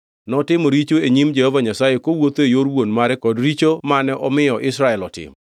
Notimo richo e nyim Jehova Nyasaye, kowuotho e yor wuon mare kod richone mane omiyo Israel otimo.